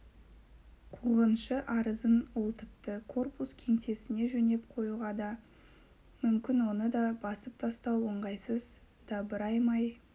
қуғыншы арызын ол тіпті корпус кеңсесіне жөнеп қоюға да мүмкін оны да басып тастау ыңғайсыз дабыраймай